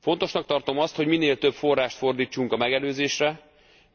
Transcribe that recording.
Fontosnak tartom azt, hogy minél több forrást fordítsunk a megelőzésre,